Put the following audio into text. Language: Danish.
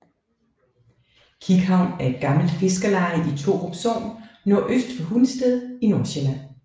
Kikhavn er et gammelt fiskerleje i Torup Sogn nordøst for Hundested i Nordsjælland